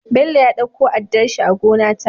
Bello ya ɗauko addarshi a gona ta